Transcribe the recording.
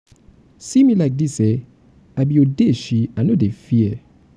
see me like dis eh i be odeshi i no dey fear.